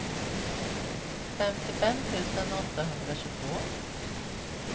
femtiofem tusen åttahundratjugotvå